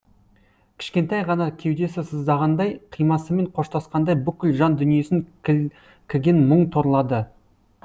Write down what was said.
кішкентай ғана кеудесі сыздағандай қимасымен қоштасқандай бүкіл жан дүниесін кілкіген мұң торлады